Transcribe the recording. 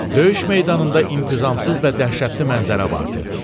Döyüş meydanında intizamsız və dəhşətli mənzərə vardı.